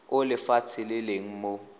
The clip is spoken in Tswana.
o lefatshe le leng mo